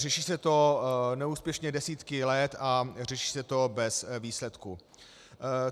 Řeší se to neúspěšně desítky let a řeší se to bez výsledků.